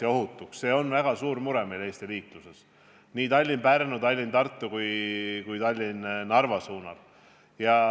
See on meil Eestis väga suur mure, nii Tallinna–Pärnu, Tallinna–Tartu kui ka Tallinna–Narva lõigul.